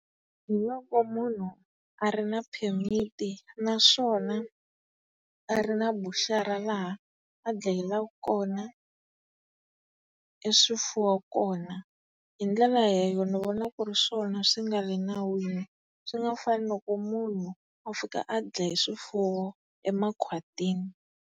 Hi loko munhu a ri na phemiti naswona a ri na buchara laha a dlayela kona e swifuwo kona. Hi ndlela ni vona ku ri swona swi nga le nawini, swi nga fani loko munhu a fika a dlaya swifuwo emakhwatini.